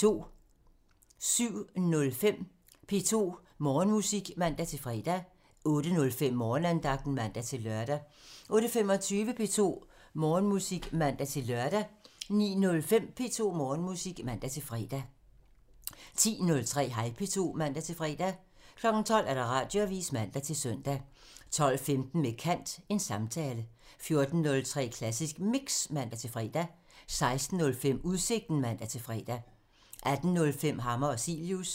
07:05: P2 Morgenmusik (man-fre) 08:05: Morgenandagten (man-lør) 08:25: P2 Morgenmusik (man-lør) 09:05: P2 Morgenmusik (man-fre) 10:03: Hej P2 (man-fre) 12:00: Radioavisen (man-søn) 12:15: Med kant – Samtale 14:03: Klassisk Mix (man-fre) 16:05: Udsigten (man-fre) 18:05: Hammer og Cilius